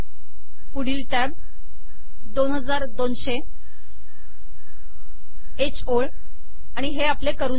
पुढील टॅब 2200 ह ओळ आणि हे आपले करून झाले